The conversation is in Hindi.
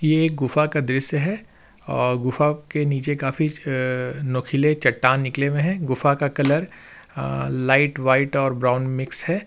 ये एक गुफा का दृश्य है और गुफा के नीचे काफी अ अ नुकीले चट्टान निकले हुए हैं गुफा का कलर अ लाइट व्हाइट और ब्राउन मिक्स है।